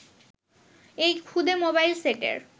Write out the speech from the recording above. এই ক্ষুদে মোবাইল সেটের